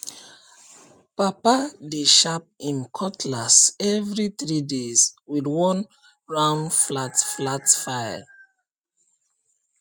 papa dey sharp him cutlass every three days with one round flat flat file